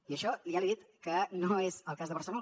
i això ja li he dit que no és el cas de barcelona